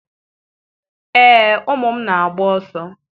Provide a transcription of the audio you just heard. Ee, ụmụ m na-agba ọsọ.